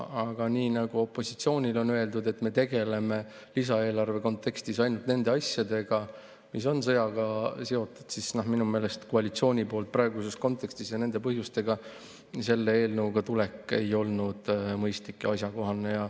Aga nii nagu opositsioonile on öeldud, et me tegeleme lisaeelarve kontekstis ainult nende asjadega, mis on sõjaga seotud, siis minu meelest koalitsiooni poolt praeguses kontekstis nende põhjendustega selle eelnõu esitamine ei ole olnud mõistlik ega asjakohane.